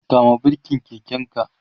kama birken keken ka!